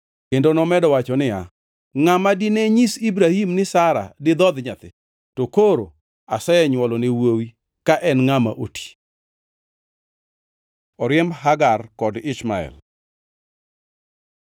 Kendo nomedo wacho niya, “Ngʼama dine nyis Ibrahim ni Sara didhodh nyathi? To koro asenywolone wuowi ka en ngʼama oti.” Oriemb Hagar kod Ishmael